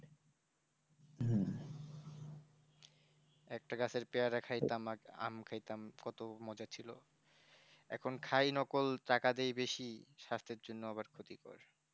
একটা গাছের পেয়ারা খাইতাম আম খাইতাম কত মজা ছিল এখন খাই নকল টাকা দিয়ে বেশি স্বাস্থ্যের জন্য আবার ক্ষতিকারক